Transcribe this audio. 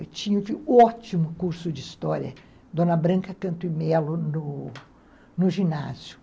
Eu tinha um ótimo curso de história, Dona Branca Canto e Melo, no no ginásio.